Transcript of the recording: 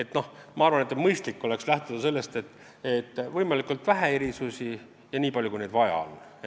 Minu arvates oleks mõistlik lähtuda põhimõttest, et võimalikult vähe erisusi ja nii palju, kui neid vaja on.